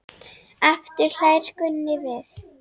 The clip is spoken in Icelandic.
Aftur hlær Gunni við.